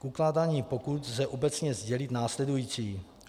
K ukládání pokut lze obecně sdělit následující.